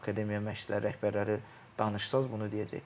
Akademiya məşqçiləri rəhbərləri danışsanız bunu deyəcək.